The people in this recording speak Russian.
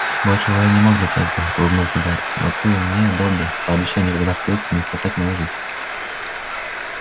большего я не мог для тебя сделать улыбнулся гарри но ты мне добби пообещай никогда впредь не спасать мою жизнь